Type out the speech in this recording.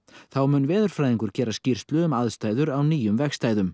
þá mun veðurfræðingur gera skýrslu um aðstæður á nýjum vegstæðum